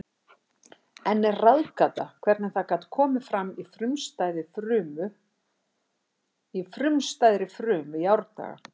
Enn er ráðgáta hvernig það gat komið fram í frumstæðri frumu í árdaga.